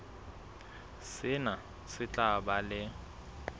sena se tla ba le